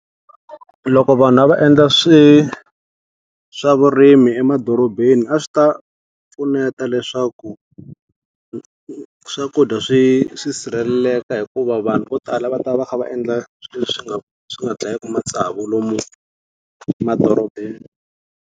Loko vanhu a va endla swi swa vurimi emadorobeni a swi ta pfuneta leswaku, swakudya swi swi sirheleleka hikuva vanhu vo tala a va ta va va kha va endla leswi swi nga swi nga dlayiku matsavu lomu emadorobeni.